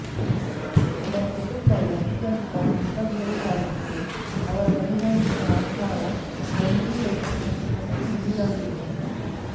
ಅವರ ಕುಟುಂಬವು ಅತ್ಯಂತ ಮಿತವ್ಯಯಿಯಾಗಿತ್ತು ಅವರ ದೈನಂದಿನ ಆಹಾರ ಗಂಜಿ ರೊಟ್ಟಿ ಮತ್ತು ನೀರಾಗಿದ್ದವು